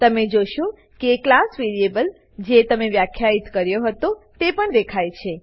તમે જોશો કે ક્લાસ વેરીએબલ જે તમે વ્યાખ્યિત કર્યો હતો તે પણ દેખાય છે